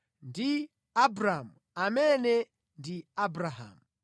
ndi Abramu (amene ndi Abrahamu).